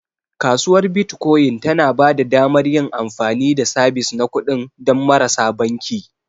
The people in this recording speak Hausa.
Kasuwar Bitcoin tana ba da damar yin amfani da sabis na kuɗi don marasa banki.